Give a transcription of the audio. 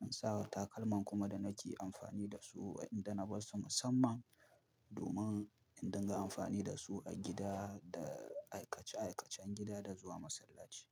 in sa wa takalman kuma da nake amfani da su idan na bar su musamman domin in dinga amfani da su a gida da aikace aikacen gida da zuwa masallaci.